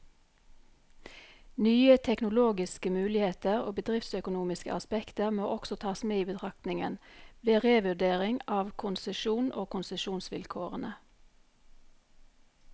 Nye teknologiske muligheter og bedriftsøkonomiske aspekter må også tas med i betraktningen, ved revurdering av konsesjonen og konsesjonsvilkårene.